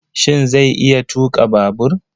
Shin zai iya tuƙa babur?